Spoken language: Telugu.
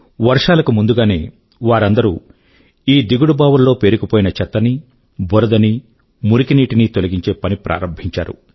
వర్షాల కు ముందుగానే వారందరూ ఈ దిగుడు బావుల్లో పేరుకు పోయిన చెత్తనీ బురదనీ మురికి నీటినీ తొలగించే పని ప్రారంభించారు